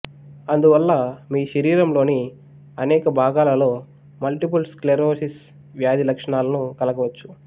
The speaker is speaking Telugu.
అందువల్ల మీరు శరీరంలోని అనేక భాగాలలో మల్టిపుల్ స్క్లెరోసిస్ వ్యాధి లక్షణాలను కలగవచ్చు